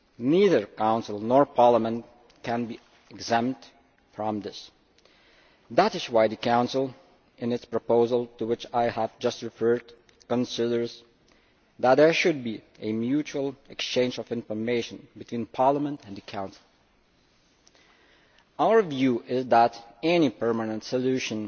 Neither Council nor Parliament can be exempt from this. That is why the Council, in its proposal to which I have just referred, considers that there should be a mutual exchange of information between Parliament and the Council. Our view is that any permanent solution